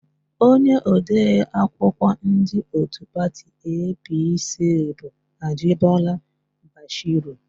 Onye odeakwụkwọ ndị òtù pati EePiiSii bụ Ajịbọla Bashiru.